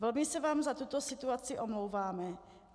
Velmi se vám za tuto situaci omlouváme.